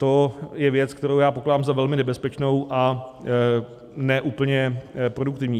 To je věc, kterou pokládám za velmi nebezpečnou a ne úplně produktivní.